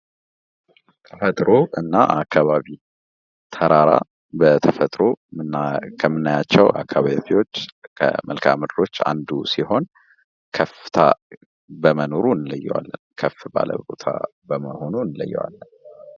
ተፈጥሮ እና አካባቢ ተራራ በተፈጥሮ ከምናያቸው ከአካባቢዎች ከመልክዐ ምድሮች አንዱ ሲሆን ከፍታ በመኖሩ እንለየዋለን ።ከፍ ባለ ቦታ በመኖሩ እንለየዋለን።